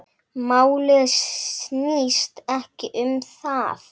Málið snýst ekki um það.